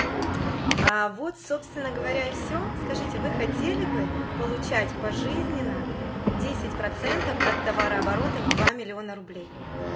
аа вот собственно говоря и все скажите вы хотели бы получать пожизненно десять процентов от товарооборота в два миллиона рублей